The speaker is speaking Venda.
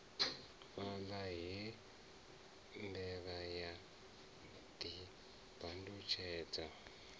fhaḽa he mbevha ya ḓibandutshedza